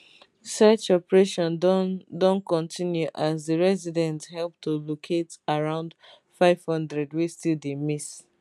search operation don don continue as di residents help to locate around 500 wey still dey miss